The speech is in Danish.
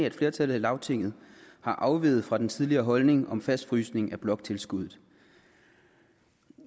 et flertal i lagtinget er afveget fra den tidligere holdning om fastfrysning af bloktilskuddet